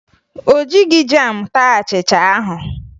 O jighi jam taa achịcha ahụ